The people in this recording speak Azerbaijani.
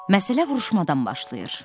Məsələ vuruşmadan başlayır.